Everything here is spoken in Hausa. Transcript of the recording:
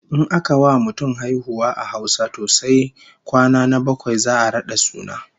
In aka wa mutum haihuwa a Hausa to sai kwana na bakwai za'a rada suna